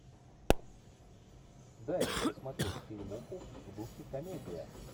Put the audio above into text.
дай мне посмотреть фильмуху в духе комедия